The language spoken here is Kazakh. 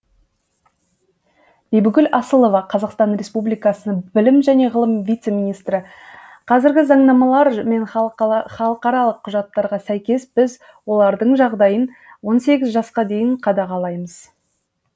бибігүл асылова қазақстан республикасының білім және ғылым вице министрі қазіргі заңнамалар мен халықаралық құжаттарға сәйкес біз олардың жағдайын он сегіз жасқа дейін қадағалаймыз